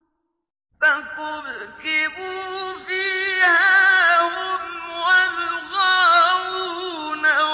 فَكُبْكِبُوا فِيهَا هُمْ وَالْغَاوُونَ